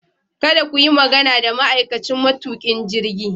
Kada ku yi magana da ma'aikacin matukin jirgi.